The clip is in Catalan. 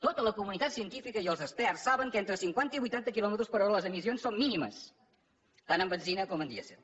tota la comunitat científica i els experts saben que entre cinquanta i vuitanta quilòmetres per hora les emissions són mínimes tant en benzina com en dièsel